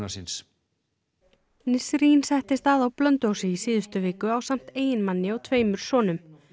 síns settist að á Blönduósi í síðustu viku ásamt eiginmanni og tveimur sonum